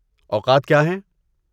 اوقات کیا ہیں؟